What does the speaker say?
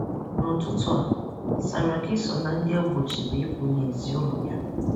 N'ụtụtụ a, Saraki so na ndị egbochiri ịpụ n'ezi ụlọ ya.